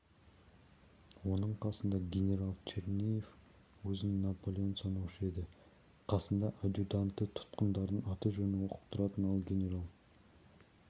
оның қасында генерал черняев өзін наполеон санаушы еді қасында адъютанты тұтқындардың аты-жөнін оқып тұратын ал генерал